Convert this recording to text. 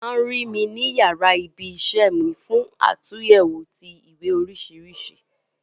O ma ru mi ni yara ibi isẹ́ mi fún àtúnyẹwò ti ìwé oríṣiríṣi.